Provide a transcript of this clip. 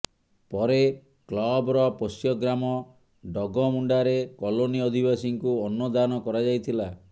ପରେ କ୍ଲବର ପୋଷ୍ୟଗ୍ରାମ ଡଗମୁଣ୍ଡାରେ କଲୋନି ଅଧିବାସୀଙ୍କୁ ଅନ୍ନଦାନ କରାଯାଇଥିଲା